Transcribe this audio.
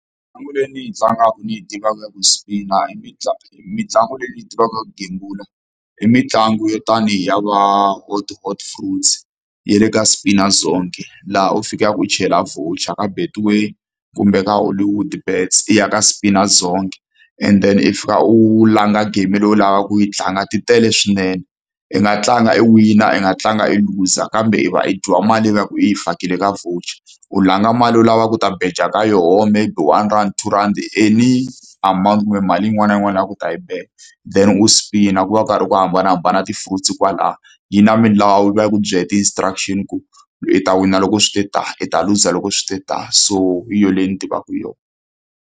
Mitlangu leyi ni yi tlangaka ni yi tivaka ya ku spin-a i . Mitlangu leyi ni yi tivaka ya ku gembula i mitlangu yo tanihi ya va Hot Hot Fruits ya le ka Spina Zonke. Laha u fikaka u chela voucher ka Betway kumbe ka Hollywoodbets, i ya ka Spina Zonke, and then i fika u langa game loyi u lavaka ku yi tlanga, ti tele swinene. I nga tlanga i wina, i nga tlanga i luza kambe i va i dyiwa mali i va ku i yi fakile ka voucher. U langa mali u lava ku ta beja ka yona maybe one rand, two rhandi, any amount kumbe mali yin'wana na yin'wana u lavaka ku ta yi beja. Then u spin-a. Ku va ku karhi ku hambanahambana ti-fruits kwalaya. Yi na milawu, yi va yi ku byele ti-instructions ku u ta wina loko swi te tani, i ta luza loko swi ta tani. So hi yona leyi ni tivaka yona.